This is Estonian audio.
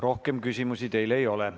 Rohkem küsimusi teile ei ole.